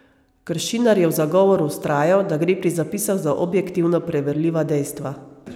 Kršinar je v zagovoru vztrajal, da gre pri zapisih za objektivno preverljiva dejstva.